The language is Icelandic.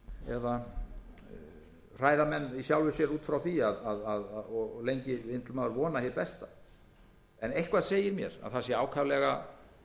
menn í sjálfu sér út frá því og lengi vill maður vona hið besta en eitthvað segir mér að það sé ákaflega